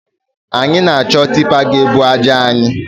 Anyi na-achọ tipa ga-ebu aja anyị